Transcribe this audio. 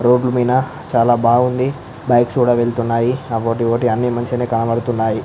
Road మీన చాలా బాగుంది బైక్స్ కూడా వెళ్తున్నాయి అవోటీ ఇవోటి అన్నీ మంచిగనే కనబడుతున్నాయి.